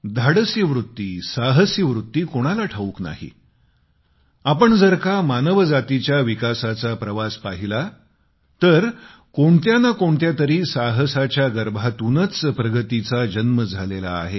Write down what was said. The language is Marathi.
धाडसी वृत्ती साहसी वृत्ती कोणाला ठाऊक नाही आपण जर का मानव जातीच्या विकासाचा प्रवास पाहिला तर कोणत्या न कोणत्यातरी साहसाच्या गर्भातूनच प्रगतीचा जन्म झालेला आहे